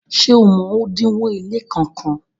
ṣe ọ mọ odinwo ile kán kán?